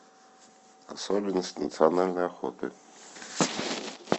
особенности национальной охоты